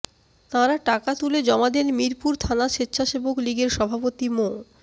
তাঁরা টাকা তুলে জমা দেন মিরপুর থানা স্বেচ্ছাসেবক লীগের সভাপতি মো